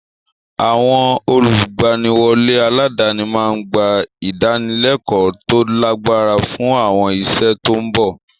Àwọn olùgbaniwọlé aládàáni máa ń gba ìdánilẹ́kọ̀ọ́ tó lágbára fún àwọn iṣẹ́ tó ń bọ̀.